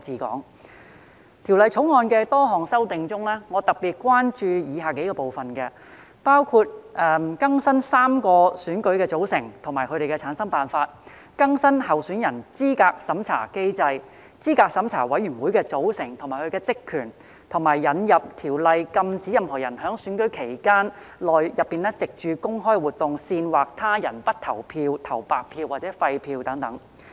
在《條例草案》的多項修訂中，我特別關注以下幾個部分，包括更新3個選舉的組成及其產生辦法、更新候選人資格審查機制、候選人資格審查委員會的組成及其職權，以及引入條例以禁止任何人在選舉期間內藉公開活動煽惑他人不投票、投白票或廢票等。